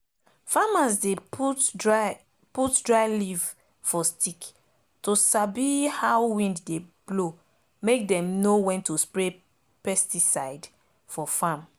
farmers dey put dry put dry leaf for stick to sabi how wind dey blow make them know when to spray pesticide for farm